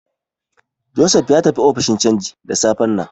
Joseph ya tafi ofishin canji da safen nan.